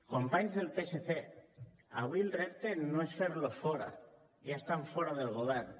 companys del psc avui el repte no és fer los fora ja estan fora del govern